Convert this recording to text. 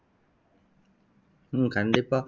உம் கண்டிப்பா